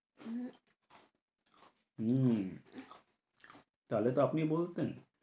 হম তাহলে তো আপনি বলতেন।